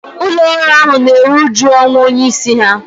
ụlọ ọrụ ahu na-eru uju ọnwụ onye isi ha